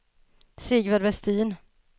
Sigvard Vestin